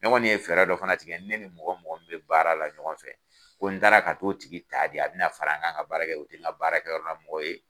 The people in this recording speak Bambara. Ne kɔni ye fɛɛrɛ dɔ fana tigɛ , ne ni mɔgɔ mɔgɔ min be baara la ɲɔgɔn fɛ ko ni n taara ka to o tigi ta de an be na fara n kan ka baara kɛ o baarakɛyɔrɔ la mɔgɔw ye